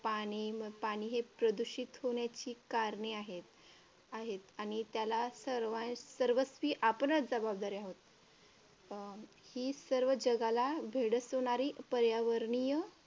पाणी, पाणी प्रदूषित होण्याची हे कारणे आहेत आहेत आणि त्याला सर्व सर्वस्वी आपणच जबाबदार आहोत. अं ही सर्व जगाला भेडसावणारी पर्यावरणीय